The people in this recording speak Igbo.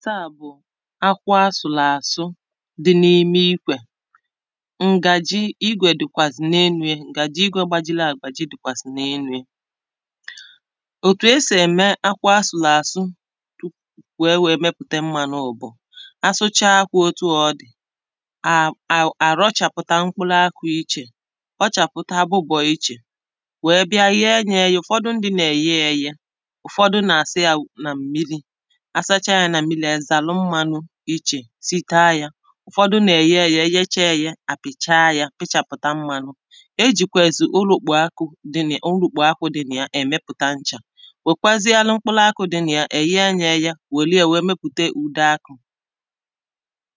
ɪ́hé ɔ́ hʊ̀ nɪ́hé èsèrèsé à bʊ̀ áhɪ́hɪ́á ńdɪ́ ójɪ̀bó nààkpɔ́ ɛlɪfənt græs ɔ́ nèfʊ́lú òŋʷé jā nʊ́gbó ɔ̄bʊ̄nà À náɣɪ̄ ákọ̄ jā àkɔ̀ óɲé ʧɔ́ ɪ́kɔ̀ ɔ́rʊ́ ɔ́ bɪ́jágódɪ́ òvùrú ụ́zɔ̀ gbútùó jā Màkànà de tɪn àkànà the thing Màkànà ọ nà-aṅọ̀chi ebe a nà-akọ̀ ihē I gbutùo yā I nẁerè ike kpọọ yā ọkụ, mànà ọ kàchà mmā nà ị rapụ̀rụ̀ ya Ọ rērē, Ì wèlu yā mee Ihe a nà-àkpọ manure n’ọnụ oyìbo Ke nà-ènyere ihe a kọ̀rọ n’ubì aka kà ọ wèe mee ǹkè ọma ọ̀zọkwa Ahịhịà nụụ̀nwa Anụ̄manụ̀ nà-àtakwa yā ihe dịkà ewu, atụrụ̄, efi Fa nà-àta yā wèe na-edòro āhụ̄ Ọ nà-àdịkwa hā mmā ǹkè ọma n’àrụ